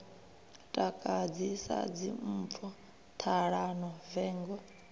takadzi sa dzimpfu ṱhalano vengo